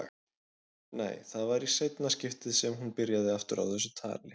Nei, það var í seinna skiptið sem hún byrjaði aftur á þessu tali.